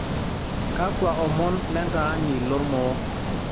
kakua omon lentaani lormoo